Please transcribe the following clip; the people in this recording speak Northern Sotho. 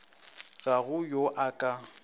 ga go yo a ka